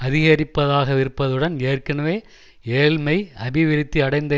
அதிகரிப்பதாகவிருப்பதுடன் ஏற்கனவே ஏழ்மை அபிவிருத்தி அடைந்த